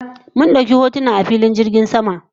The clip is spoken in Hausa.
Mun dauki hotuna a filin jirgin sama yau